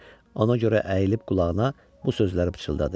Ona görə əyilib qulağına bu sözləri pıçıldadı.